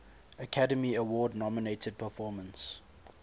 academy award nominated performance